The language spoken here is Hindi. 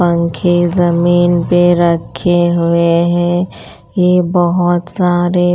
पंखे ज़मीन पे रखे हुए हैं ये बहुत सारे --